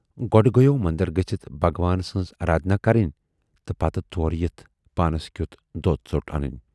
گۅڈٕ گٔیوو مندر گٔژھِتھ بھگوان سٕنز ارادھنا کَرٕنۍ تہٕ پتہٕ تورٕ یِتھ پانس کٮُ۪ت دۅد ژوٹ انٕنۍ۔